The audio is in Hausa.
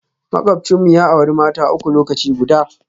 Makwabcinmu ya auri mata uku lokaci guda